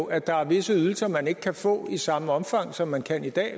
er der visse ydelser man ikke kan få i samme omfang som man kan i dag